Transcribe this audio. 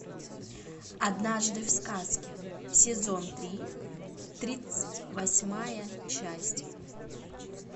однажды в сказке сезон три тридцать восьмая часть